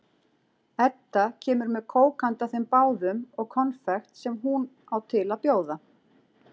Edda kemur með kók handa þeim báðum og konfekt sem hún á til að bjóða.